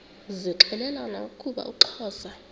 zixelelana ukuba uxhosa